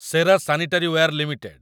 ସେରା sanitaryware limited